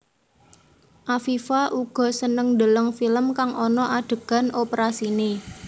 Afifa uga seneng ndeleng film kang ana adegan oprasiné